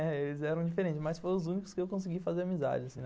Eles eram diferentes, mas foram os únicos que eu consegui fazer amizade assim, né.